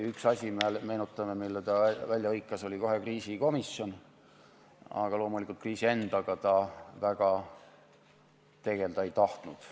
Üks asi, meenutame, mille ta välja hõikas, oli kohe kriisikomisjon, aga loomulikult kriisi endaga ta väga tegelda ei tahtnud.